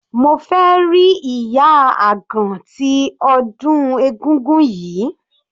Mo fẹ́ rí ìyá àgan tí ọdún egúngún yìí.